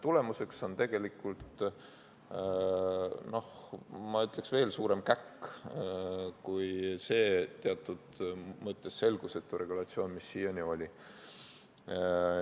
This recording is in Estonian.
Tulemuseks on tegelikult, ma ütleks, veel suurem käkk kui see teatud mõttes selgusetu regulatsioon, mis siiani oli.